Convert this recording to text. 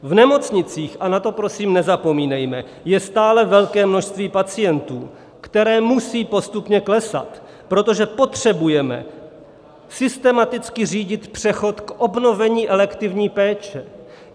V nemocnicích, a na to prosím nezapomínejme, je stále velké množství pacientů, které musí postupně klesat, protože potřebujeme systematicky řídit přechod k obnovení elektivní péče.